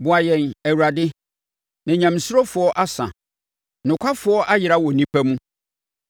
Boa yɛn, Awurade, na nyamesurofoɔ asa; nokwafoɔ ayera wɔ nnipa mu.